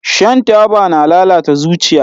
Shan taba na lalata zuciya